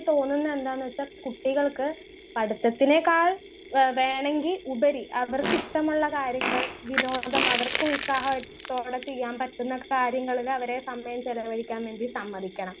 Speaker 1 തോന്നുന്നേ എന്താന്ന് വെച്ച കുട്ടികൾക്ക് പഠിത്തത്തിനേക്കാൾ എഹ് വേണെങ്കി ഉപരി അവർക്ക് ഇഷ്ട്ടമുള്ള കാര്യങ്ങൾ വിനോദം അവർക്ക് ഉത്സാഹായിട്ടോ അവിടെ ചെയ്യാൻ പറ്റുന്ന കാര്യങ്ങളിൽ അവരെ സമയം ചെലവഴിക്കാൻ വേണ്ടി സമ്മതിക്കണം.